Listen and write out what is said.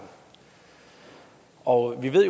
og vi ved